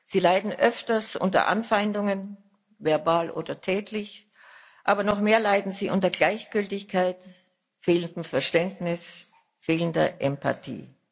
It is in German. Sie leiden öfter unter Anfeindungen, verbal oder tätlich aber noch mehr leiden sie unter Gleichgültigkeit, fehlendem Verständnis, fehlender Empathie.